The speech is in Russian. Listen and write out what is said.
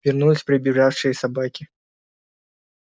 вернулись прибежавшие собаки